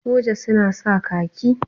Soja suna sa khaki.